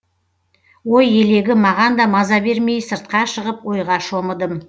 ой елегі маған да маза бермей сыртқа шығып ойға шомыдым